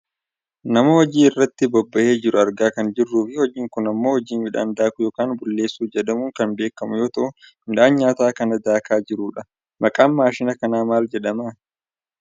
Nama hojii irratti bobbahee jiru argaa kan jirruufi hojiin kun ammoo hojii midhaan daakuu yookaan bulleessuu jedhamuun kan beekkamu yoo ta'u midhaan nyaataa kan daakaa jirudha. Maqaan maashina kanaa maal jedhama?